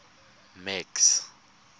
max